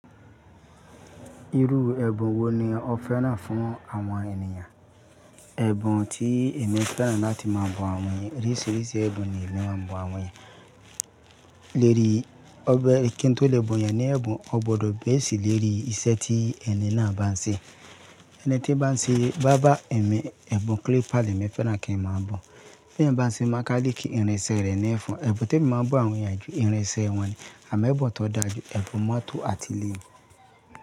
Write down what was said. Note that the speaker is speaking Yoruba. Irú ẹbun wo ni o fẹ́ràn fún àwọn ènìyàn? Ẹbun tí èmi fẹ́ràn láti máa bun àwọn ènìyàn, oríṣiríṣi ẹbun ni èmi máa bun àwọn ènìyàn. Léri, ọbẹ kí n tó lè bun yan ní ẹbun, o gbọdọ̀ base léri iṣẹ́ tí ẹni náà bá n ṣe. Ẹni tí n bá n ṣe báábà, èmi ẹbun clipper lemi fẹ́ràn kí n máa bun. Ti eyan bá n ṣe mákálíkì, ìrinṣẹ rẹ ni fun. Ẹbun tí èmi máa bun àwọn ènìyàn ju ìrinṣẹ wọn ni, àmọ́ ẹbun tó dáa jù, ẹbun mọ́tò àti ilé.